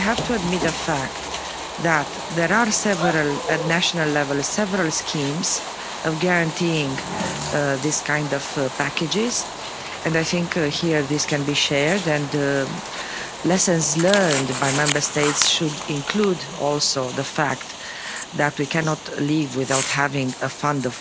We have to admit the fact that there are several at national level several schemes of guaranteeing these kind of packages and I think that here, this can be shared, and lessons learned by Member States should include also the fact that we cannot live without having a fund